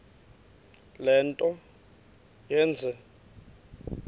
le nto yenze